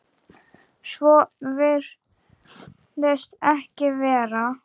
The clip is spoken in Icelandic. Svo virðist ekki vera.